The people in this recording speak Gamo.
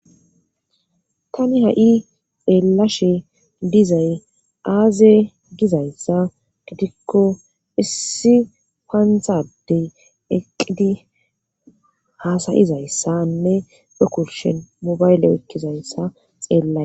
tani ha7i eelashe dizay aaze gizayssa gitikko issi paanhadey eqqidi haasayizayssanne fekurshen mobayle ekkizayssa xeellay